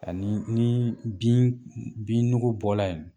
Ani ni bin binnugu bɔra yen